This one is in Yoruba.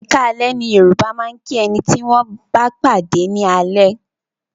Ẹ̀kaalẹ́ ni Yoruba máa ń kí ẹni tí wọn bá pàdé ni alẹ́